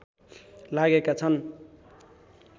लागेका छन्